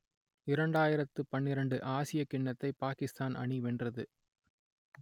இரண்டாயிரத்து பன்னிரண்டு ஆசியக் கிண்ணத்தை பாக்கிஸ்தான் அணி வென்றது